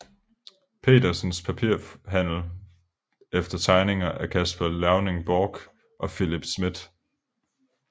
Petersens Papirhandel efter tegninger af Caspar Leuning Borch og Philip Smidth